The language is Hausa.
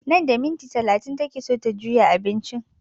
Nan da minti talatin take so ta juya abincin